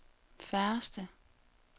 færreste